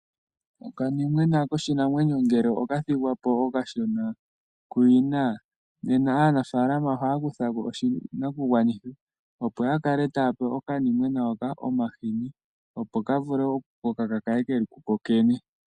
Okanimona koshinamwenyo ngele okathigwapo okashona kuyina. Nena aanafaalama ohaya kutha oshinakugwanithwa opo yakale taya pe okanimona hoka omahini opo ka vule oku koka kakale keli ku kokene.